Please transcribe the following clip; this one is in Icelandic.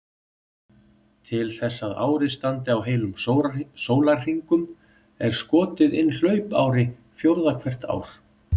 Til þess að árið standi á heilum sólarhringum er skotið inn hlaupári fjórða hvert ár.